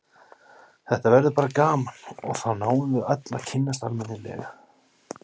Þetta verður bara gaman og þá náum við öll að kynnast almennilega.